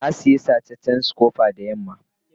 na Siya sacecen scooper da yamman ga.